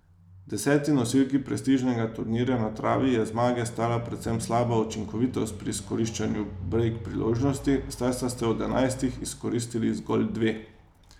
Deseti nosilki prestižnega turnirja na travi je zmage stala predvsem slaba učinkovitost pri izkoriščanju brejk priložnosti, saj sta od enajstih izkoristili zgolj dve.